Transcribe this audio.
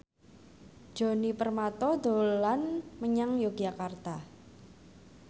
Djoni Permato dolan menyang Yogyakarta